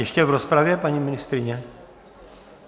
Ještě v rozpravě, paní ministryně?